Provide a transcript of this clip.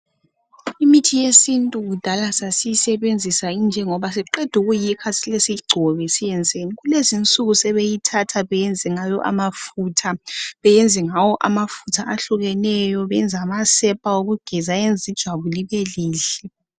Imithi yesintu kudala sasiyisebenzisa injengoba siqeda ukuyikha sihle siyigcobe siyenzeni. Kulezinsuku sebeyithatha beyenze ngawo amafutha ahlukeneyo, beyenze amasepa okugeza ayenza ijwabu libelihle.